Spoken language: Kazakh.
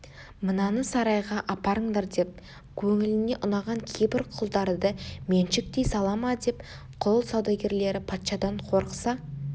мынаны сарайға апарыңдар деп көңіліне ұнаған кейбір құлдарды меншіктей сала ма деп құл саудагерлері патшадан қорықса